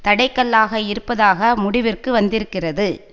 தடை கல்லாக இருப்பதாக முடிவிற்கு வந்திருக்கிறது